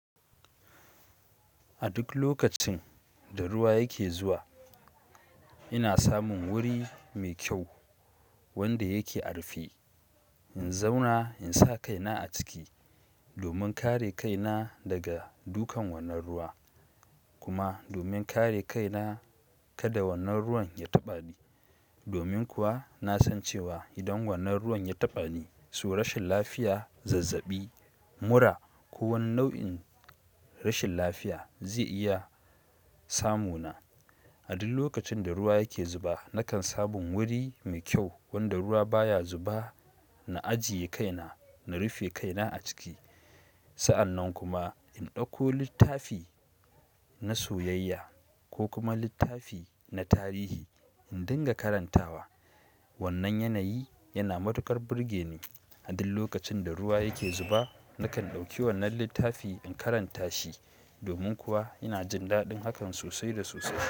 A duk lokacin da ruwa yake zuwa, ina samun wuri mai kyau wanda yake a'rufe. In zauna in sa kaina a ciki domin kare kaina daga dukan wannan ruwa kuma domin kare kaina kada wannan ruwan ya taɓa ni. Domin kuwa na san cewa idan wannan ruwan ya taɓa ni, so rashin lafiya, zazzabi, mura ko wani nau'in rashin lafiya zai iya samu na. A duk lokacin da ruwa yake zuba, nakan samun wuri mai kyau wanda ruwa baya zuba. Na ajiye kaina, na rufe kaina a ciki. Sa'an nan kuma in ɗauko littafi na soyayya ko kuma littafi na tarihi in dinga karantawa. Wannan yanayi yana matuƙar burge ni. A duk lokacin da ruwa yake zuba, nakan ɗauki wannan littafi in karanta shi. Domin kuwa ina jin daɗin hakan sosai da sosai.